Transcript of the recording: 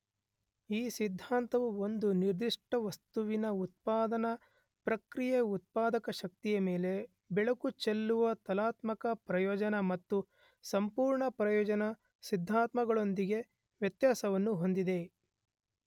ಈ ಸಿದ್ಧಾಂತವು ಒಂದು ನಿರ್ಧಿಷ್ಟ ವಸ್ತುವಿನ ಉತ್ಪಾದನಾ ಪ್ರಕ್ರಿಯೆಯ ಉತ್ಪಾದಕ ಶಕ್ತಿಯ ಮೇಲೆ ಬೆಳಕು ಚೆಲ್ಲುವ ತುಲನಾತ್ಮಕ ಪ್ರಯೋಜನ ಮತ್ತು ಸಂಪೂರ್ಣ ಪ್ರಯೋಜನ ಸಿದ್ಧಾಂತಗಳೊಂದಿಗೆ ವ್ಯತ್ಯಾಸವನ್ನು ಹೊಂದಿದೆ.